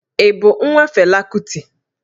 Ị bụ nwa Fela Kuti?